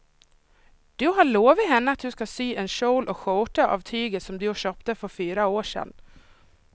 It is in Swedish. Du har lovat henne att du ska sy en kjol och skjorta av tyget du köpte för fyra år sedan.